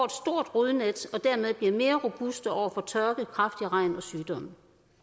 rodnet og dermed bliver mere robuste over for tørke kraftig regn og sygdomme